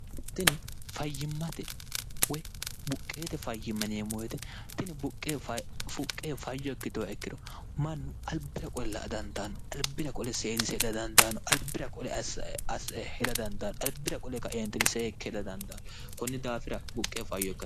tini fayyimmate woy buqqeete fayyimma niemmoyite tini buqqfuqqe fayyo ikkitowa ikkiro mannu albira qole laa dandaanno albira qole seedise hidadandaano albira qole shida dandaanno albira qole kaeenti seekke heda dandaannno kunni daafira buqqe fayyo oko